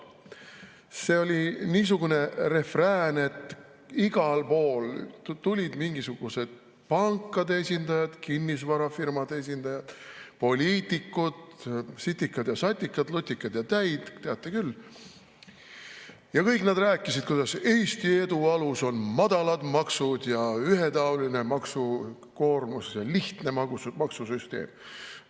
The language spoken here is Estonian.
See oli niisugune refrään, et igal pool tulid mingisugused pankade esindajad, kinnisvarafirmade esindajad, poliitikud, sitikad ja satikad, lutikad ja täid, teate küll, ja kõik nad rääkisid, kuidas Eesti edu alus on madalad maksud ja ühetaoline maksukoormus, lihtne maksusüsteem.